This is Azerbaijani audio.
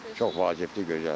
Çox vacibdir, gözəldir.